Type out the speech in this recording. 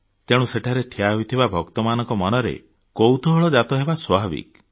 ତେଣୁ ସେଠାରେ ଠିଆ ହୋଇଥିବା ଭକ୍ତମାନଙ୍କ ମନରେ କୌତୂହଳ ଜାତ ହେବା ସ୍ୱାଭାବିକ